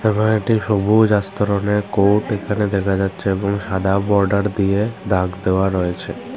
নয়টি সবুজ আস্তরণের কোর্ট এখানে দেখা যাচ্ছে এবং সাদা বর্ডার দিয়ে দাগ দেওয়া রয়েছে।